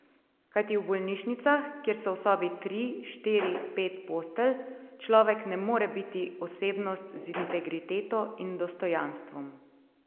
Kajti v bolnišnicah, kjer so v sobi tri, štiri, pet postelj, človek ne more biti osebnost z integriteto in dostojanstvom.